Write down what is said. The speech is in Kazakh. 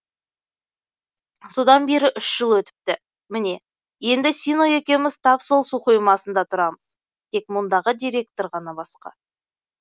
содан бері үш жыл өтіпті міне енді сино екеуміз тап сол су қоймасында тұрмыз тек мұндағы директор ғана басқа